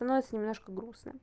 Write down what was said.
становится немножко грустно